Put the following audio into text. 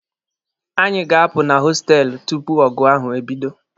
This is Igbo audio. Anyị ga-apụ na hostelụ tupu ọgụ ahụ ebido.